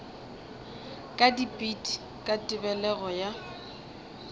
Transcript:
ka dipit ka tebelego ya